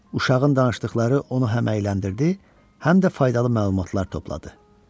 Uşağın danışdıqları onu həm əyləndirdi, həm də faydalı məlumatlar topladı.